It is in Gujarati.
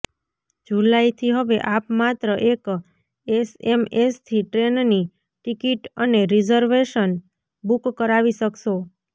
જુલાઇથી હવે આપ માત્ર એક એસએમએસથી ટ્રેનની ટિકિટ અને રિઝર્વેશન બૂક કરાવી શકશો